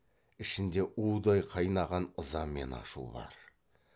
ішінде удай қайнаған ыза мен ашу бар